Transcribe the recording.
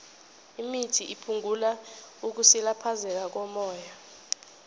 imithi iphungula ukusilaphezeka kommoya